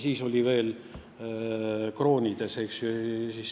Siis olid veel kroonid.